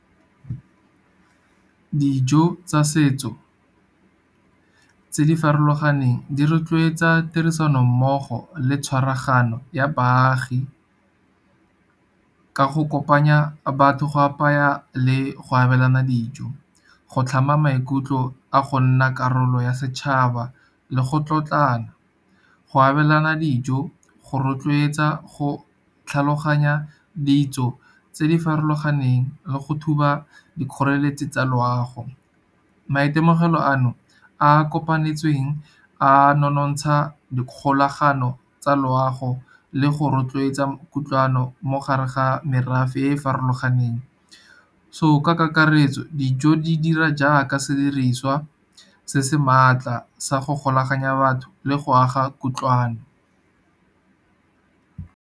Dijo tsa setso tse di farologaneng di rotloetsa tirisanommogo le tshwaragano ya baagi ka go kopanya batho go apaya le go abelana dijo, go tlhama maikutlo a go nna karolo ya setšhaba le go tlotlana. Go abelana dijo go rotloetsa go tlhaloganya ditso tse di farologaneng, le go thuba dikgoreletsi tsa loago. Maitemogelo ano a kopanetsweng a nonontsha dikgolagano tsa loago, le go rotloetsa kutlwano mo gare ga merafe e e farologaneng. So, ka kakaretso dijo di dira jaaka sediriswa se se maatla sa go golaganya batho le go aga kutlwano.